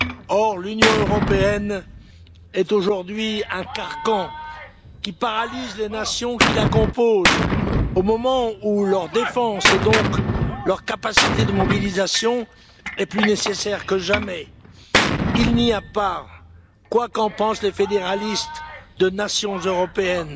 Or, l'Union européenne est aujourd'hui un carcan qui paralyse les nations qui la composent, au moment où leur défense et donc leur capacité de mobilisation est plus nécessaire que jamais. Il n'y a pas, quoi qu'en pensent les fédéralistes, de nation européenne,